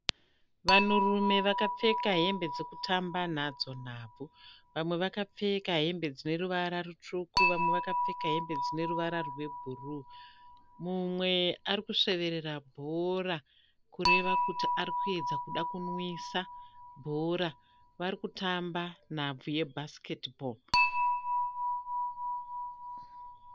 Vanhurume vakapfeka hembe dzekutamba nadzo nhabvu. Vamwe vakapfeka hembe dzineruvara rutsvuku, vamwe vakapfeka hembe dzineruvara rwebhuruwu. Mumwe arikusweverera bhora kureva kuti arikuedza kuda kunwisa bhora . Varikutamba nhabvu ye basiketi bhoro